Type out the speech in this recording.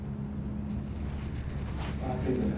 பாக்கலியே தல.